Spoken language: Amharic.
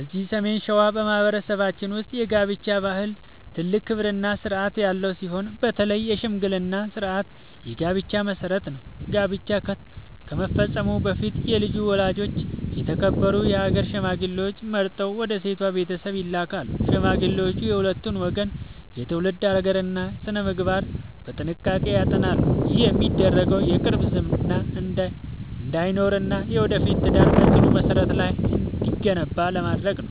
እዚህ ሰሜን ሸዋ በማኅበረሰባችን ውስጥ የጋብቻ ባህል ትልቅ ክብርና ሥርዓት ያለው ሲሆን፣ በተለይ የሽምግልና ሥርዓት የጋብቻው መሠረት ነው። ጋብቻ ከመፈጸሙ በፊት የልጁ ወላጆች የተከበሩ የአገር ሽማግሌዎችን መርጠው ወደ ሴቷ ቤተሰብ ይልካሉ። ሽማግሌዎቹ የሁለቱን ወገን የትውልድ ሐረግና ሥነ-ምግባር በጥንቃቄ ያጠናሉ። ይህ የሚደረገው የቅርብ ዝምድና እንዳይኖርና የወደፊቱ ትዳር በጽኑ መሠረት ላይ እንዲገነባ ለማድረግ ነው።